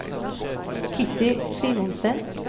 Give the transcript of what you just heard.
Kitty Simonsen